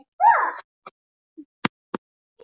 Hann vill augsýnilega ekkert meira við hana tala.